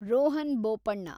Rohan Bopanna